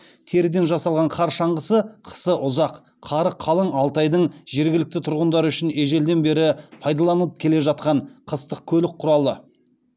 теріден жасалған қар шаңғысы қысы ұзақ қары қалың алтайдың жергілікті тұрғындары үшін ежелден бері пайдаланып келе жатқан қыстық көлік құралы